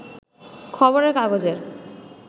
খবরের কাগজের